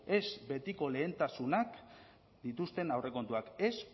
ez betiko lehentasunak dituzten aurrekontuak ez